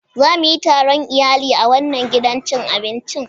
Za mu yi taron iyali a wannan gidan cin abincin.